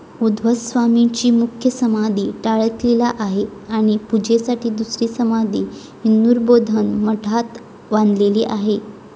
उध्ववस्वामींची मुख्य समाधी टाकळीला आहे, आणि पूजेसाठी दुसरी समाधी इंदुरबोधन मठात बांधेलेली आहे.